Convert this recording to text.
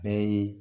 Bɛɛ ye